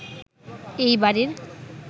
এই বাড়ির